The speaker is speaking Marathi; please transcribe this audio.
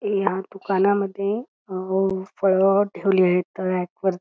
ह्या दुकानमध्ये फळ ठेवलेलेत रॅक वरती.